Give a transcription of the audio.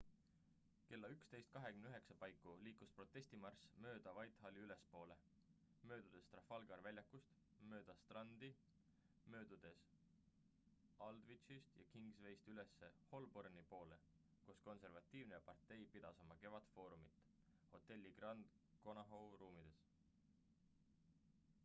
kella 11.29 paiku liikus protestimarss mööda whitehalli ülespoole möödudes trafalgari väljakust mööda strandi möödudes aldwychist ja kingswayst üles holborni poole kus konservatiivne partei pidas oma kevadfoorumit hotelli grand connaught ruumides